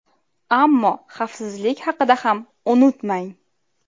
Ammo xavfsizlik haqida ham unutmang!